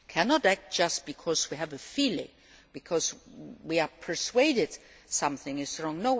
We cannot act just because we have a feeling, because we are persuaded something is wrong.